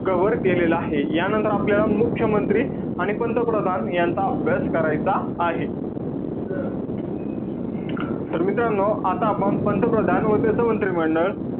Cover केलेलं आहे. यानंतर आपल्याला मुख्यमंत्री आणि पंतप्रधान यांचा अभ्यास करायचा आहे. तर मित्रांनो, आता आपण पंतप्रधान व त्याच मंत्रिमंडळ,